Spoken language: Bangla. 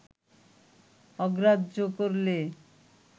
অগ্রাহ্য করলে